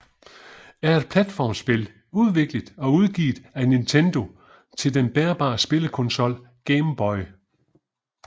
er et platformspil udviklet og udgivet af Nintendo til den bærbare spillekonsol Game Boy